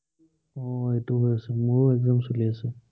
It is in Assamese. উম এইটো হৈছে। মোৰো exam চলি আছে।